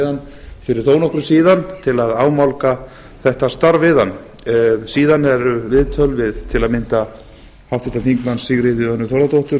hann fyrir þó nokkru síðan til að ámálga þetta starf við hann síðan eru viðtöl við til að mynda háttvirtur þingmaður sigríði önnu þórðardóttur